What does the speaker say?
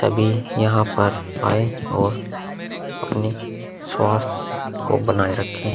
तभी यहाँ पर आयें और अपने स्वास्थ्य को बनाए रखें।